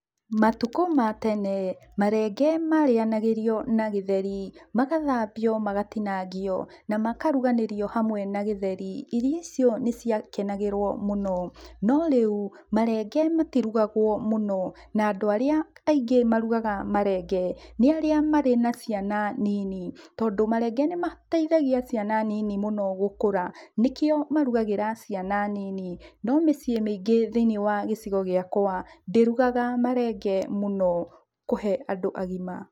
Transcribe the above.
Matukũ ma tene, marenge marĩanagĩrio na gĩtheri. Magathambio magatinangio, na makaruganĩrio hamwe na gĩtheri. Irio icio nĩciakenagĩrwo mũno, no rĩu, marenge matirugagwo mũno, na andũ arĩa aingĩ marugaga marenge, nĩ arĩa marĩ na ciana nini, tondũ marenge nĩmataithagia ciana nini mũno gũkũra, nĩkĩo marugagĩra ciana nini, no mĩciĩ mĩingĩ thĩiniĩ wa gĩcigo gĩakwa, ndĩrugaga marenge mũno kũhe andũ agima.